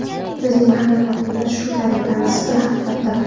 Bizning haqiqatimiz shu tariqa nisbiy haqiqatdir.